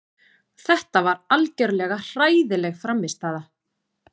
Þetta var algjörlega hræðileg frammistaða.